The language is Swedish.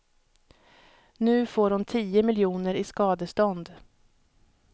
Nu får hon tio miljoner i skadestånd.